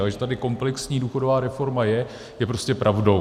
Ale že tady komplexní důchodová reforma je, je prostě pravdou.